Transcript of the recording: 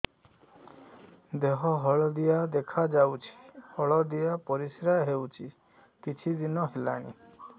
ଦେହ ହଳଦିଆ ଦେଖାଯାଉଛି ହଳଦିଆ ପରିଶ୍ରା ହେଉଛି କିଛିଦିନ ହେଲାଣି